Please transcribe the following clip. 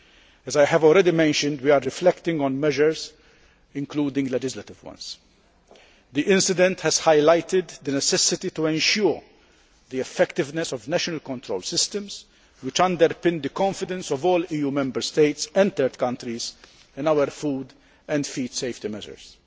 As I have already mentioned, we are reflecting on measures including legislative ones. The incident has highlighted the necessity to ensure the effectiveness of national control systems which underpin the confidence of all EU Member States and third countries in our food and feed safety measures.